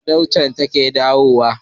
kuma Dauda ce take kawo ta